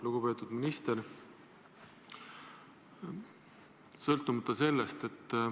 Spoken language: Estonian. Lugupeetud minister!